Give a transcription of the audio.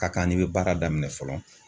Ka kan n'i be baara daminɛ fɔlɔ